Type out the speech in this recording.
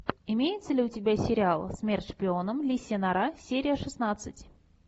имеется ли у тебя сериал смерть шпионам лисья нора серия шестнадцать